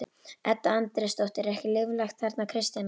Edda Andrésdóttir: Er ekki líflegt þarna Kristjana?